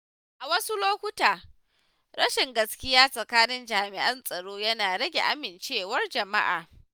A wasu lokuta, rashin gaskiya tsakanin jami’an tsaro yana rage amincewar jama’a.